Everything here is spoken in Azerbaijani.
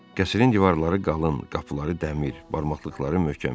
Qəsrin divarları qalın, qapıları dəmir, barmaqlıqları möhkəm idi.